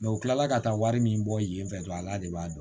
u tilala ka taa wari min bɔ yen fɛ dɔrɔn ala de b'a dɔn